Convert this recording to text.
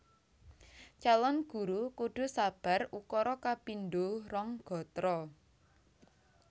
Calon Guru kudu sabar ukara kapindho rong gatra